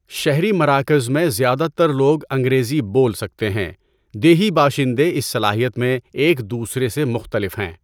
شہری مراکز میں زیادہ تر لوگ انگریزی بول سکتے ہیں، دیہی باشندے اس صلاحیت میں ایک دوسرے سے مختلف ہیں۔